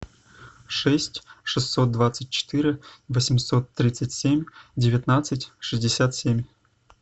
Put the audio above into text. шесть шестьсот двадцать четыре восемьсот тридцать семь девятнадцать шестьдесят семь